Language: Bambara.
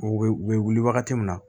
U bɛ u bɛ wuli wagati min na